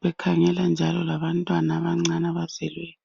bekhangela njalo labantwana abancane abazelweyo.